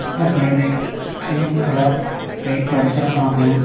இந்த building cream colour paint அடிச்சுருக்காங்க.